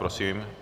Prosím.